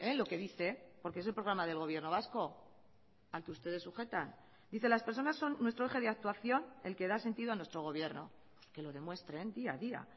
lo que dice porque es el programa del gobierno vasco al que ustedes sujetan dice las personas son nuestro eje de actuación el que da sentido a nuestro gobierno pues que lo demuestren día a día